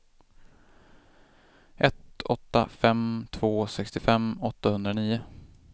ett åtta fem två sextiofem åttahundranio